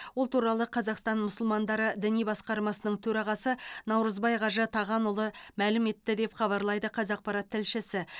ол туралы қазақстан мұсылмандары діни басқармасының төрағасы наурызбай қажы тағанұлы мәлім етті деп хабарлайды қазақпарат тілшісі